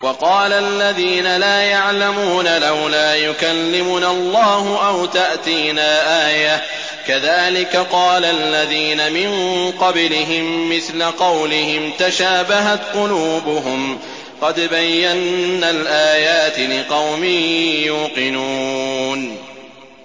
وَقَالَ الَّذِينَ لَا يَعْلَمُونَ لَوْلَا يُكَلِّمُنَا اللَّهُ أَوْ تَأْتِينَا آيَةٌ ۗ كَذَٰلِكَ قَالَ الَّذِينَ مِن قَبْلِهِم مِّثْلَ قَوْلِهِمْ ۘ تَشَابَهَتْ قُلُوبُهُمْ ۗ قَدْ بَيَّنَّا الْآيَاتِ لِقَوْمٍ يُوقِنُونَ